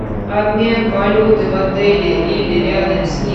обмен валюты в отеле или рядом с ним